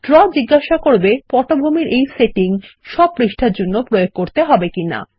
draw জিজ্ঞেস করবে পটভূমির এই সেটিং সব পৃষ্ঠার জন্য প্রয়োগ করতে হবে কিনা